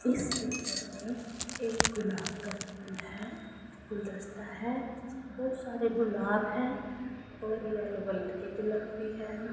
इस पिक्चर में एक गुलाब का फूल है गुलदस्ता है बहोत सारे गुलाब हैं और यल्लो कलर के गुलाब भी हैं न।